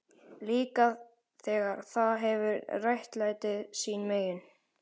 Líka þegar það hefur réttlætið sín megin.